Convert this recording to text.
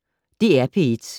DR P1